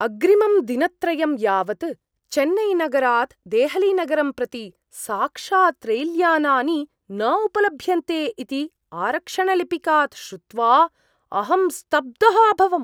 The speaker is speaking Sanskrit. अग्रिमं दिनत्रयं यावत् चेन्नैनगरात् देहलीनगरं प्रति साक्षात् रैल्यानानि न उपलभ्यन्ते इति आरक्षणलिपिकात् श्रुत्वा अहं स्तब्धः अभवम्।